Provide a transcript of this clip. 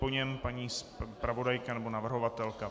Po něm paní zpravodajka nebo navrhovatelka.